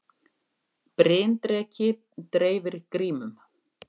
Bryndreki dreifir grímum